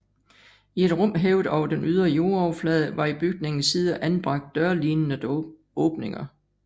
I et rum hævet over den ydre jordoverflade var i bygningens sider anbragt dørlignende åbninger